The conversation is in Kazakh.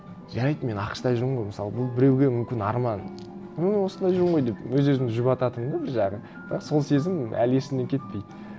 жарайды мен ақш та жүрмін ғой мысалы бұл біреуге мүмкін арман мен осында жүрмін ғой деп өз өзімді жұбататынмын да бір жағы бірақ сол сезім әлі есімнен кетпейді